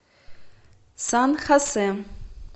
сан хосе